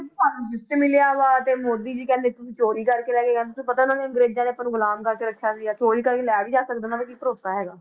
ਮਿਲਿਆ ਵਾ ਤੇ ਮੋਦੀ ਜੀ ਕਹਿੰਦੇ ਤੁਸੀਂ ਚੋਰੀ ਕਰਕੇ ਲੈ ਕੇ ਤੁਹਾਨੂੰ ਪਤਾ ਉਹਨਾਂ ਨੇ ਅੰਗਰੇਜ਼ਾਂ ਨੇ ਆਪਾਂ ਨੂੰ ਗੁਲਾਮ ਬਣਾ ਕੇ ਰੱਖਿਆ ਸੀਗਾ ਚੋਰੀ ਕਰਕੇ ਲੈ ਵੀ ਜਾ ਸਕਦਾ ਉਹਨਾਂ ਦਾ ਕੀ ਭਰੋਸਾ ਹੈਗਾ।